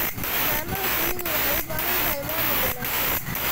Xannaanada shinnidu waxay u baahan tahay maamul wanaagsan.